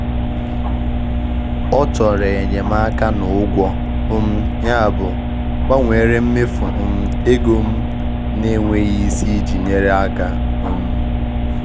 Ọ chọrọ enyemaka na ụgwọ, um yabụ m gbanwere mmefu um ego m na-enweghị isi iji nyere aka. um